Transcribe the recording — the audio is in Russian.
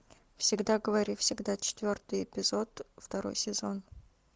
всегда говори всегда четвертый эпизод второй сезон